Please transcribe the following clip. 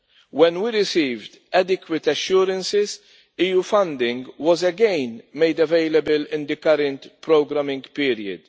When we received adequate assurances, EU funding was again made available in the current programing period.